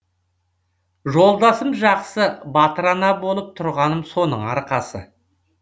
жолдасым жақсы батыр ана болып тұрғаным соның арқасы